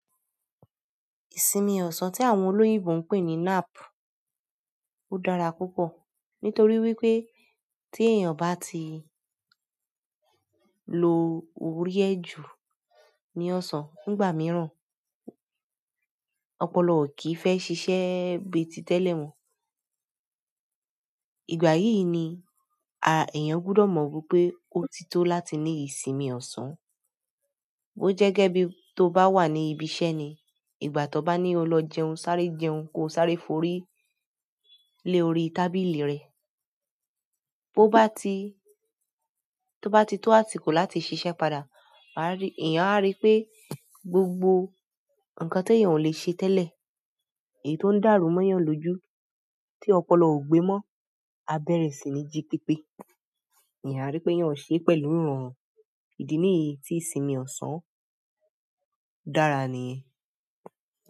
Ìsinmi ọ̀sán tí àwọn olóyìnbo ń pè ní nap, ó dára púpọ̀ nítorí wípé tí èèyàn bá ti lo orí ẹ ju ní ọ̀sán nígbà mìíràn, ọpọlọ ò kí fẹ́ ṣiṣẹ́ bíi títẹ́lẹ̀ mọ. Ìgbà yìí ni èèyàn gbọ́dọ̀ mọ̀ wípé ó ti tó láti ní ìsinmi ọ̀sán. Bo jẹ́ gẹ́ bí tó bá wà ní ibi iṣẹ́ ni, ìgbà tó bá ní o lọ jẹun sáré jẹun, kó sáré forí lé orí tábìlì rẹ. Tó bá ti tó àsìkò láti ṣiṣẹ́ padà, èèyàn á rí pé gbogbo nǹkan ti èèyàn ò lè ṣe tẹ́lẹ̀, èyí tó ń dàrú mọ́ èèyàn lójú tí ọpọlọ ò gbé mọ́, á bẹ̀rẹ̀ sí ní jí pípé. Éeyan a ríi pé èèyàn ń sẹ é pẹ̀lú ìrọ̀rùn. Ìdí nìyí tí ìsinmi ọ̀sán dàra nìyẹn.